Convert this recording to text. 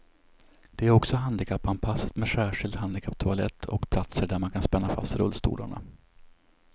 Det är också handikappanpassat med särskild handikapptoalett och platser där man kan spänna fast rullstolarna.